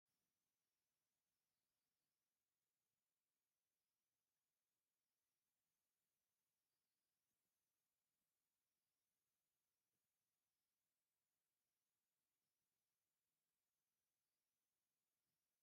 እዚ ጸሊምን ትሑት ደገፍ ዘለዎን መንበር ቅልጽም እዩ ዘርኢ። ብሓጺን ዝተሰርሐ መቐመጢ ቅልጽም ኣለዎ፣ ኣብ ድሕሪትን መንበርን ድማ ንኣሽቱ መኽፈቲታት ይረኣዩ። ብሓፈሻ ቀሊል መንበር እዩ።